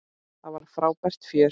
Það var frábært fjör.